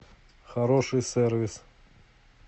хороший сервис